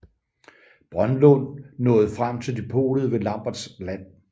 Brønlund nåede frem til depotet ved Lamberts land